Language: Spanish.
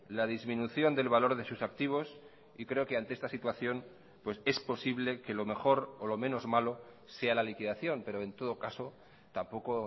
la disminución del valor de sus activos y creo que ante esta situación pues es posible que lo mejor o lo menos malo sea la liquidación pero en todo caso tampoco